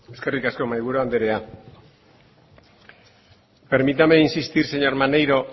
eskerrik asko mahaiburu andrea permítame insistir señor maneiro